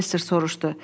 Professor soruşdu.